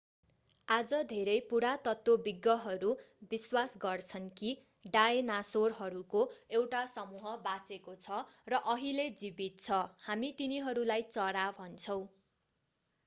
आज धेरै पुरातत्वविज्ञहरू विश्वास गर्छन् कि डायनासोरहरूको एउटा समूह बाँचेको छ र अहिले जीवित छ हामी तिनीहरूलाई चरा भन्छौँ